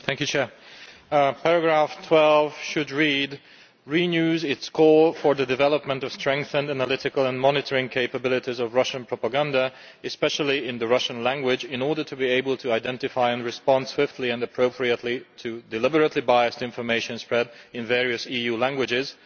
Mr President, paragraph 12 should read, Renews its call for the development of strengthened analytical and monitoring capabilities of Russian propaganda, especially in the Russian language in order to be able to identify, and respond swiftly and appropriately to, deliberately biased information spread in various EU languages